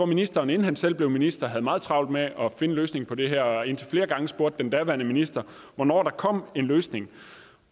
ministeren inden han selv blev minister havde meget travlt med at finde løsningen på det her og indtil flere gange spurgte den daværende minister hvornår der kom en løsning